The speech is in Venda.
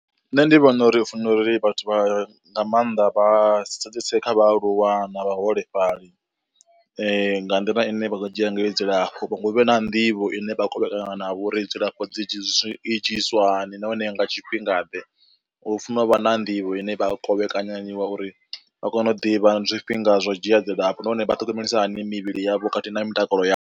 Nṋe ndi vhona uri u funa uri vhathu vha nga maanḓa vha sedzese kha vhaaluwa na vhaholefhali nga nḓila ine vha kho dzhia ngayo dzilafho, huvhe na nḓivho ine vha kovhekanywa navho uri dzilafho dzi i dzhiisiwa hani nahone nga tshifhinga ḓe. Hu funa u vha na nḓivho ine vha kovhekanyiwa uri vha kone u ḓivha zwifhinga zwa u dzhia dzilafho nahone vha ṱhogomelisa hani mivhili yavho khathihi na mitakalo yavho.